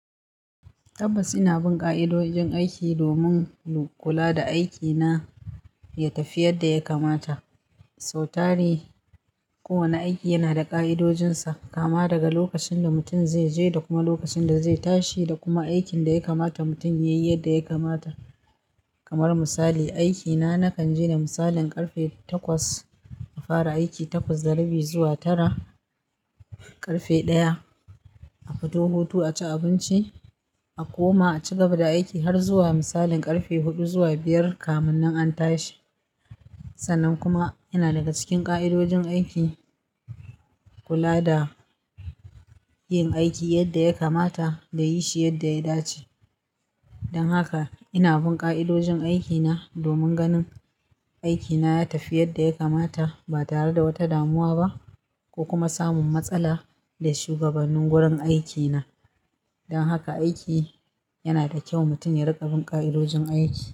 Tabbas ina bin ƙa'idojin aiki domin in kula da aikina ya tafi yadda ya kamata. Sautare, kowane aiki yana da ƙa'idojinsa, kama daga lokacin da mutum zai je da kuma lokacin da zai tashi da kuma aikin da ya kamata mutum ya yi yadda ya kamata. Kamar misali, aikina na kan je da misalin ƙarfe takwas a fara aiki, takwas da rabi zuwa tara, ƙarfe ɗaya a fito hutu a ci abinci, a koma a ci gaba da aiki har zuwa misalin ƙarfe huɗu zuwa biyar kamin nan an tashi. Sannan kuma yana daga cikin ƙa'idojin aiki kula da yin aiki yadda ya kamata da yi shi yadda ya dace. Dan haka ina bin kaidojin aiki na domin gani aiki na ya tafi yadda ya kanata ba tare da wata damuwa ba ko kuma samun matsala da shugabannin wurin aikina. Don haka aiki yana da kyau mutum ya riƙa bin ƙa'idojin aiki.